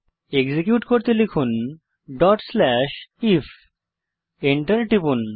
execute করতে লিখুন if Enter টিপুন